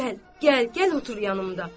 Gəl, gəl, gəl otur yanımda.